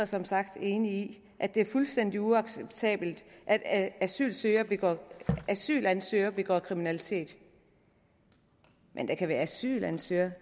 som sagt enig i at det er fuldstændig uacceptabelt at at asylansøgere begår asylansøgere begår kriminalitet men der kan være asylansøgere